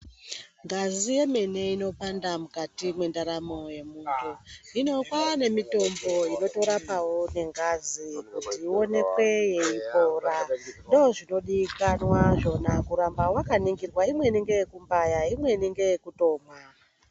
Ngazi yemene inopanda mukati mwendaramo yemuntu hino kwaanemitombo inotorapwo nengazi kuti ionekwe yeipora. Ndoozvinodikwana zvona kuramba wakaningirwa imweni ngeye kubaya imweni ngeye kutomwa.